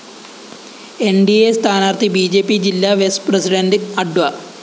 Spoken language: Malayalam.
ന്‌ ഡി അ സ്ഥാനാര്‍ത്ഥി ബി ജെ പി ജില്ലാ വെസ് പ്രസിഡണ്ട് അഡ്വ